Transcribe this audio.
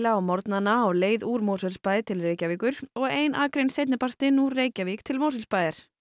á morgnana á leiðinni úr Mosfellsbæ til Reykjavíkur og ein akrein seinnipartinn úr Reykjavík til Mosfellsbæjar